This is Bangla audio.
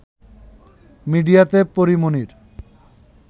মিডিয়াতে পরী মনির